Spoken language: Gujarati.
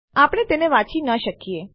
આપણે તેને વાંચી ન શકીએ